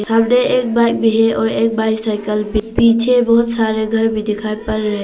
अंदर एक भाई भी है और एक भाई साइकिल पे है । पीछे बहुत सारे घर भी दिखाई पड़ रहे हैं।